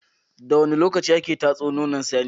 Da wani lokaci ake tatso nono saniya?